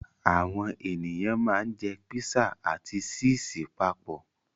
Àwọn ènìyàn ma ń jẹ́ písà ati síìsì papọ̀